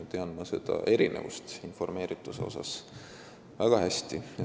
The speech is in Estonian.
Tean väga hästi, milline on see informeerituse erinevus.